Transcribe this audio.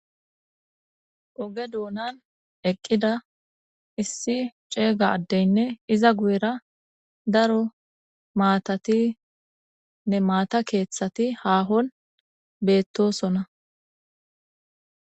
Oge donan eqida issi c'ega adeynne iza guyera daro matatinne maata kethati hahon betosona.